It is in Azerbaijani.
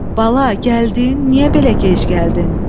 Bala, gəldin, niyə belə gec gəldin?